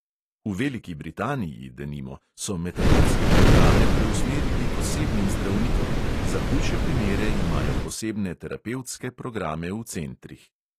V veliki britaniji, denimo, so metadonske programe preusmerili k osebnim zdravnikom, za hujše primere imajo posebne terapevtske programe v centrih.